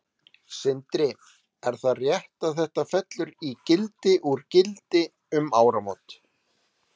Sindri: Er það rétt að þetta fellur í gildi úr gildi um áramót?